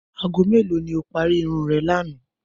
Aago mélòó ni o parí irun re̩ lánàá?